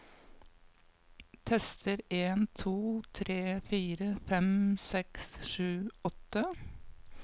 Tester en to tre fire fem seks sju åtte